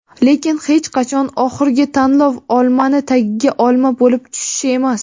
lekin hech qachon oxirgi tanlov - olmani tagiga olma bo‘lib tushish emas.